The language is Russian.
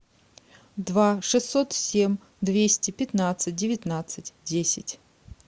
два шестьсот семь двести пятнадцать девятнадцать десять